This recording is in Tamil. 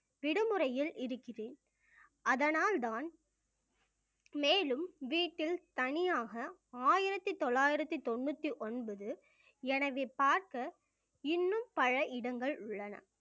விடுமுறையில் இருக்கிறேன் அதனால்தான் மேலும் வீட்டில் தனியாக ஆயிரத்தி தொள்ளாயிரத்தி தொண்ணூத்தி ஒன்பது எனவே பார்க்க இன்னும் பல இடங்கள் உள்ளன